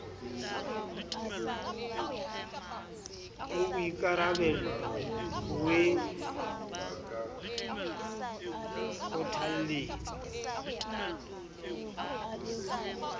a boikarabello v e kgothalletsa